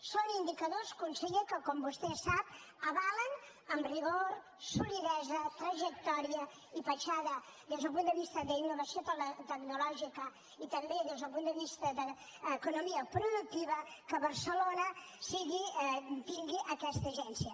són indicadors conseller que com vostè sap avalen amb rigor solidesa trajectòria i petjada des del punt de vista d’innovació tecnològica i també des del punt de vista d’economia productiva que barcelona tingui aquesta agència